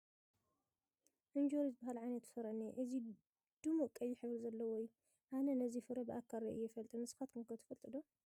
እንጆሪ ዝበሃል ዓይነት ፍረ እኒሆ፡፡ እዚ ድሙቕ ቀይሕ ሕብሪ ዘለዎ እዩ፡፡ ኣነ ነዚ ፍረ ብኣካል ርኢዮ ኣይፈልጥን፡፡ ንስኻትኩም ከ ትፈልጡዎ ዶ?